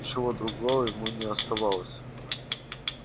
ничего другого ему не оставалось